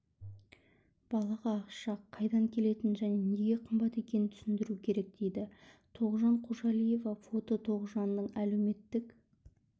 балаға ақша қайдан келетінін және неге қымбат екенін түсіндіру керек дейді тоғжан қожалиева фото тоғжанның әлеуметтік